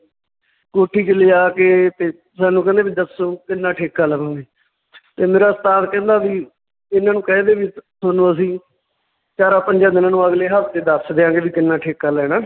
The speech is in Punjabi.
ਕੋਠੀ 'ਚ ਲਜਾ ਕੇ ਤੇ ਸਾਨੂੰ ਕਹਿੰਦੇ ਵੀ ਦੱਸੋ ਕਿੰਨਾ ਠੇਕਾ ਲਵੋਂਗੇ ਤੇ ਮੇਰਾ ਉਸਤਾਦ ਕਹਿੰਦਾ ਵੀ ਇਹਨਾਂ ਨੂੰ ਕਹਿ ਦੇ ਵੀ ਤੇ ਤੁਹਾਨੂੰ ਅਸੀਂ ਚਾਰਾਂ ਪੰਜਾਂ ਦਿਨਾਂ ਨੂੰ ਅਗਲੇ ਹਫਤੇ ਦੱਸ ਦਿਆਂਗੇ ਵੀ ਕਿੰਨਾ ਠੇਕਾ ਲੈਣਾ।